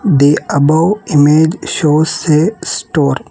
The above image show a store.